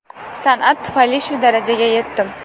San’at tufayli shu darajaga yetdim.